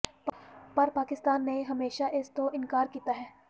ਪਰ ਪਾਕਿਸਤਾਨ ਨੇ ਹਮੇਸ਼ਾ ਇਸ ਤੋਂ ਇਨਕਾਰ ਕੀਤਾ ਹੈ